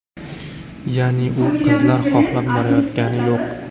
Ya’ni u qizlar xohlab borayotgani yo‘q.